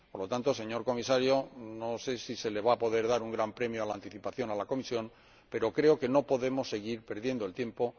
Por lo tanto, señor Comisario, no sé si se le va a poder dar a la Comisión un gran premio a la anticipación, pero creo que no podemos seguir perdiendo el tiempo.